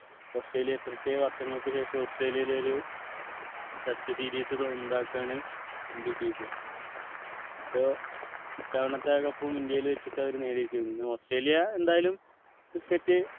Australia എത്രയൊക്കെ വർഷങ്ങൾക്കു ശേഷം ഓസ്‌ട്രേലിയയിൽ ഒരു test series സ്വന്തമാക്കുവാണ് ഇന്ത്യ ചെയ്തത് പ്പോ ഇത്തവണത്തെ cup ഉം ഇന്ത്യയിൽ വച്ചിട്ട് അവര് നേടിയിരിക്കുന്നു ഓസ്‌ട്രേലിയ എന്തായാലും cricket